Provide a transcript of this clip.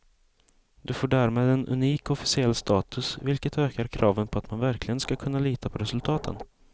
Det får därmed en unik officiell status, vilket ökar kraven på att man verkligen ska kunna lita på resultaten.